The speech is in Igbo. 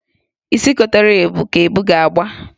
Isi kotere ebu ka ebu ga-agba.